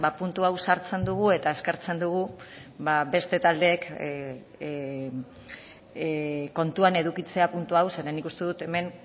puntu hau sartzen dugu eta eskertzen dugu beste taldeek kontuan edukitzea puntu hau zeren nik uste dut hemen